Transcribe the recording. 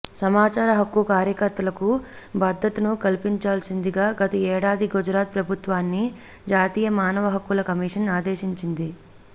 సమాచార హక్కు కార్యకర్తలకు భద్రతను కల్పించాల్సిందిగా గత ఏడాది గుజరాత్ ప్రభుత్వాన్ని జాతీయ మానవ హక్కుల కమిషన్ ఆదేశించింది